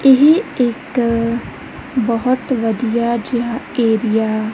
ਇਹ ਇੱਕ ਬਹੁਤ ਵਧੀਆ ਜਿਹਾ ਏਰੀਆ --